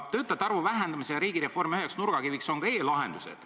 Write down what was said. Töötajate arvu vähendamise ja riigireformi üheks nurgakiviks on ka e-lahendused.